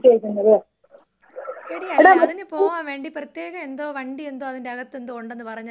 എടീ അതിനു പോകാൻ വേണ്ടി പ്രത്യേകം എന്തോ വണ്ടി എന്തോ അതന്റകത്തെന്തോ ഒണ്ടെന്ന് പറഞ്ഞല്ലോ അതെന്താണ്?